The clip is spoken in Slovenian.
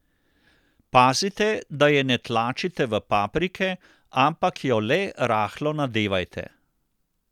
Pazite, da je ne tlačite v paprike, ampak jo le rahlo nadevajte.